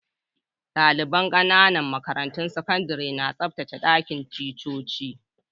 Dalibain ƙananan makarantun sakandare na tsabtacen dakin ticcoci.